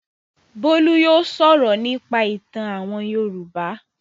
Bólú yóò sọ̀rọ̀ nípa ìtàn àwọn Yorùbá.